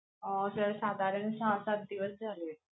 अं sir साधारण सहा सात दिवस झालेत.